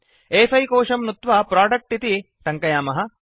अ5 कोशं नुत्वा प्रोडक्ट इति टङ्कयामः